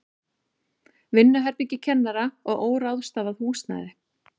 Vinnuherbergi kennara og óráðstafað húsnæði.